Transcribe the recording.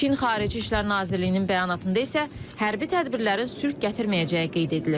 Çin Xarici İşlər Nazirliyinin bəyanatında isə hərbi tədbirlərin sülh gətirməyəcəyi qeyd edilir.